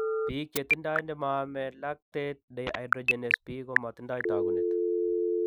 Biik chetindo nemaame lactate dehydrogenase B komatindo taakunet.